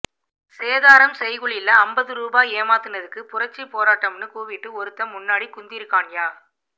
சேதாரம் செய்கூலில அம்பது ரூவா ஏமாத்துனதுக்கு புரட்சி போராட்டம்னு கூவிட்டு ஒருத்தன் முன்னாடி குந்திருக்கான்யா